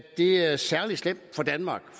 det er særlig slemt for danmark